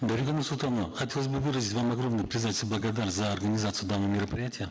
дарига нурсултановна хотелось бы выразить вам огромную признательность благодарность за организацию данного мероприятия